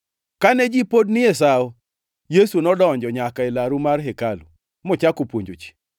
Kane ji pod ni e Sawo, Yesu nodonjo nyaka e laru mar hekalu mochako puonjo ji.